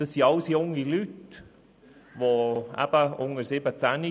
Das sind alles junge Leute unter 17 Jahren.